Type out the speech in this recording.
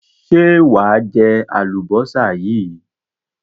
Ṣé wà á jẹ àlùbọ́sà yìí?